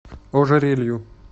ожерелью